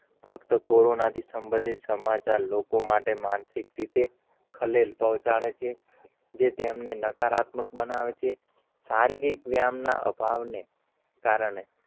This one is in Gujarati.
ફક્ત કોરોના થી શબંધીત, સમાચાર લોકો માટે માનસિક રીતે ખલીલ પહોંચાડે છે તેમણે નકારાત્મક બનાવે છે? સારીરીક વ્યમના અભવાન કારણે,